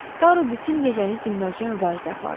Taru bütün gecəni dinməzcə mübarizə apardı.